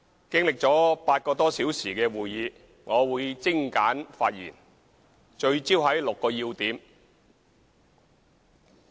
經歷了8個多小時的會議，我會精簡發言，聚焦在6個要點。